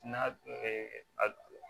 N'a a